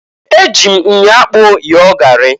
E ji m myo akpụ yọọ gari.